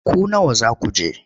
Ku nawa za ku je?